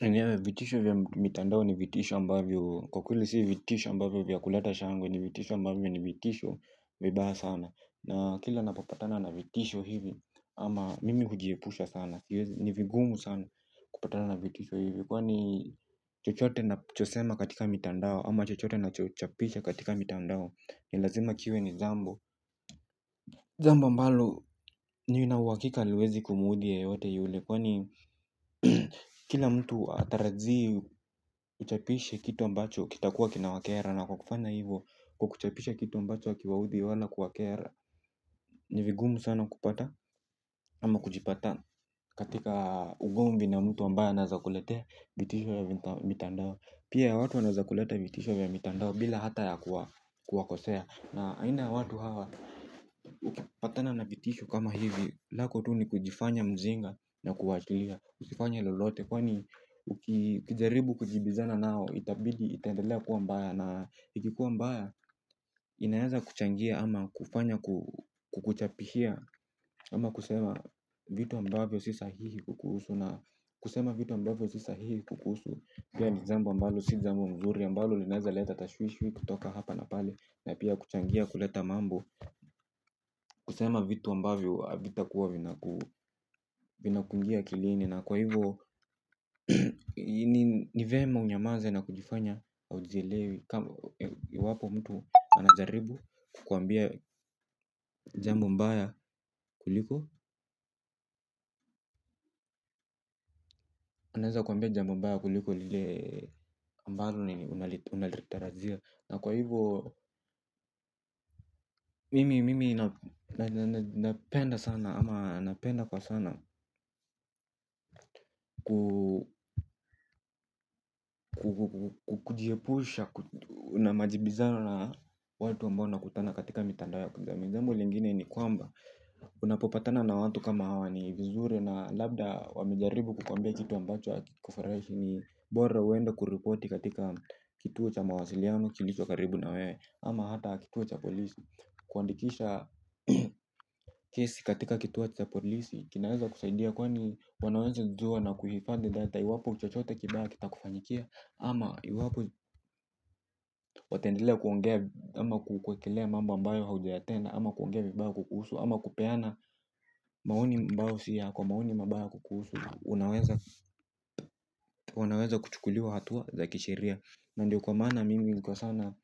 Yenyewe vitisho vya mitandao ni vitisho ambavyo kwa kweli si vitisho ambavyo vya kulata shangwe ni vitisho ambavyo ni vitisho vibaya sana na kila napopapatana na vitisho hivi ama mimi hujiepusha sana ni vigumu sana kupatana na vitisho hivi kwa ni chochote nachosema katika mitandao ama chochote nachochapisha katika mitandao. Ni lazima kiwe ni jambo jambo ambalo nina uhakika haliwezi kumuudhi yeyote yule kwani kila mtu hatarajii uchapishe kitu ambacho kitakuwa kinawakera na kwa kufanya hivo kwa kuchapisha kitu ambacho hakiwaudhi wala kuwakera. Ni vigumu sana kupata ama kujipata katika ugomvi na mtu ambaye anaeza kuletea vitisho ya mitandao. Pia ya watu wanaeza kulete vitisho vya mitandao bila hata ya kuwakosea. Na aina ya watu hawa ukipatana na vitisho kama hivi lako tu ni kujifanya mjinga na kuachilia usifanye lolote. Kwani ukijaribu kujibizana nao itabidi itaendelea kuwa mbaya. Na iki kuwa mbaya inaeza kuchangia ama kufanya kukuchapishia ama kusema vitu ambavyo si sahihi kukuhusu. Na kusema vitu ambavyo si sahihi kukuhusu. Pia ni jambo ambalo si jambo mzuri ambalo linaeza leta tashwishwi kutoka hapa na pale. Na pia kuchangia kuleta mambo kusema vitu ambavyo havitakuwa vinakuingia akilini na kwa hivyo ni vyema unyamaze na kujifanya haujielewi iwapo mtu anajaribu kukuambia jambo mbaya kuliko anaweza kuambia jambo mbaya kuliko lile ambalo unaliterajia. Na kwa hivyo. Mimi napenda sana ama napenda kwa sana kujiepusha na majibizano na watu ambao nakutana katika mitandao ya kijamii jambo lingine ni kwamba unapopatana na watu kama hawa ni vizuri na labda wamejaribu kukuambia kitu ambacho hakikufurahishi ni bora uende kuripoti katika kituo cha mawasiliano kilicho karibu na wewe ama hata kituo cha polisi kuandikisha kesi katika kituo cha polisi kinaeza kusaidia kwani wanaweza jua na kuhifadhi data iwapo chochote kibaya kitakufanyikia ama iwapo wataendelea kuongea ama kuwekelea mambo ambayo haujayatenda ama kuongea vibaya kukuhusu ama kupeana maoni ambayo si yako maoni mabaya kukuhusu. Unaweza kuchukuliwa hatua za kisheria. Na ndiyo kwa maana mimi tukikosana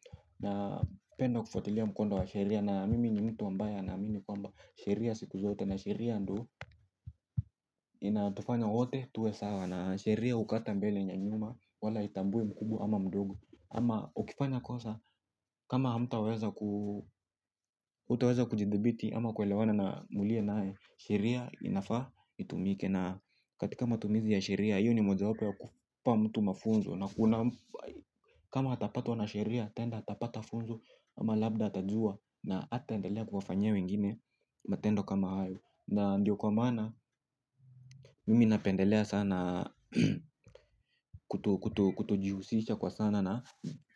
napenda kufuatilia mkondo wa sheria na mimi ni mtu ambaye anaamimi kwamba sheria siku zote na sheria ndo inayotufanya wote tuwe sawa na sheria hukata mbele na nyuma wala haitambui mkubwa ama mdogo. Ama ukifanya kosa kama hamtaweza kujithibiti ama kuelewana na mliye naye sheria inafaa itumike na katika matumizi ya sheria hiyo ni mojawapo ya kumpa mtu mafunzo na unampa. Kama hatapatwa na sheria tenda atapata funzo ama labda atajua. Na hataendelea kuwafanyia wengine matendo kama hayo. Na ndiyo kwa maana, mimi napendelea sana kutojihusisha kwa sana na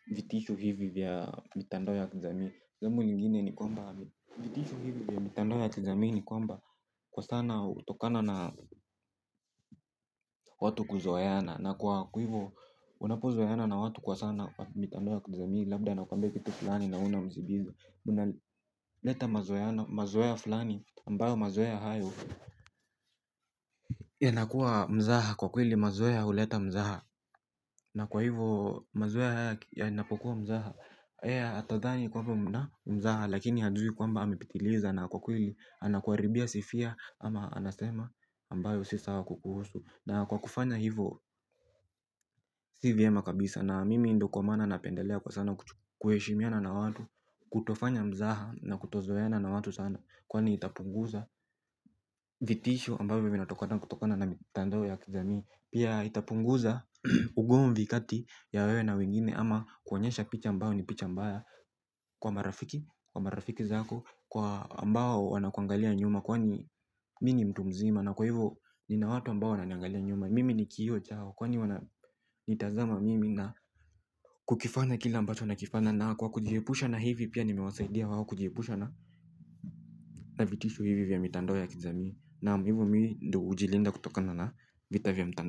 vitisho hivi vya mitandao ya kijamii. Zamu lingine ni kwamba vitisho hivi vya mitandao ya kijamii ni kwamba kwa sana hutokana na watu kuzoeana. Na kwa hivyo, unapozoeana na watu kwa sana mitandao ya kijamii labda anakuambia kitu fulani na we na unamjibiza. Muna leta mazoea fulani ambayo mazoea hayo. Yanakuwa mzaha kwa kweli mazoea ya huleta mzaha na kwa hivo mazoea haya yanapokuwa mzaha yeye atadhani kwamba mna mzaha lakini hajui kwamba amepitiliza na kwa kweli anakuharibia sifia ama anasema ambayo si sawa kukuhusu. Na kwa kufanya hivo. Si vyema kabisa na mimi ndo kwa maana napendelea sana kuheshimiana na watu kutofanya mzaha na kutozoeana na watu watu sana. Kwani itapunguza vitisho ambavyo vinatokata kutokana na mitandao ya kijami. Pia itapunguza ugomvi kati ya wewe na wengine ama kuonyesha picha ambayo ni picha mbaya. Kwa marafiki, kwa marafiki zako kwa ambao wanakuangalia nyuma kwani mi ni mtu mzima na kwa hivyo nina watu ambao wananiangalia nyuma. Mimi ni kioo chao kwani wananitazama mimi na kukifanya kila ambacho nakifanya. Na kwa kujiepusha na hivi pia nimewasaidia wao kujiepusha na na vitisho hivi vya mitandao ya kijami. Naam hivo mi ndo hujilinda kutokana na vita vya mtan.